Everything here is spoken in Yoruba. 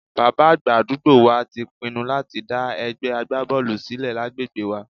Bàbá àgbà àdúgbò wa ti pinnu láti dá ẹgbẹ́ agbábọ́ọ̀lù sílẹ̀ lágbègbè wa